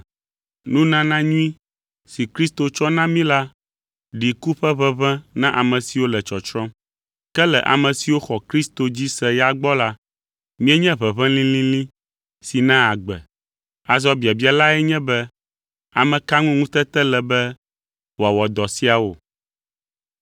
Nunana nyui si Kristo tsɔ na mí la ɖi ku ƒe ʋeʋẽ na ame siwo le tsɔtsrɔ̃m. Ke le ame siwo xɔ Kristo dzi se ya gbɔ la, míenye ʋeʋẽ lĩlĩlĩ si naa agbe. Azɔ biabia lae nye be ame ka ŋu ŋutete le be wòawɔ dɔ siawo?